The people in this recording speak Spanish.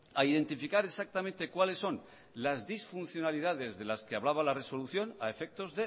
a identificar exactamente cuáles son las disfuncionalidades de las que hablaba la resolución a efectos